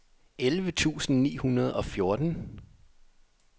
elleve tusind ni hundrede og fjorten